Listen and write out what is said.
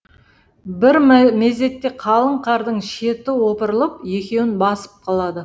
бір мезетте қалың қардың шеті опырылып екеуін басып қалады